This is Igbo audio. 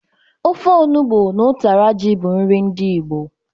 Ofe onụgbọ na ụtara ji bụ nri ndị Igbo.